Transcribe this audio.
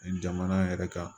Jamana yɛrɛ kan